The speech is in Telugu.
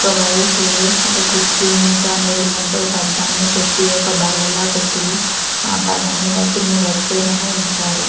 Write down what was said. ఒక వైపు ఒక కుర్చీని ఎదురుగుండా ఒక అద్దాన్నిపెట్టి ఒక బల్లలా పెట్టి ఆ బల్ల మీద కొన్ని వస్తువులు పెట్టారు.